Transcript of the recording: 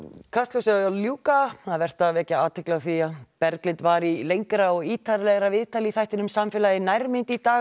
Kastljósi að ljúka nú vert er að vekja athygli á því að Berglind var í lengra og ítarlegra viðtali í þættinum samfélagið í nærmynd í dag